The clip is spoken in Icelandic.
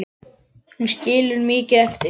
Hún skilur mikið eftir sig.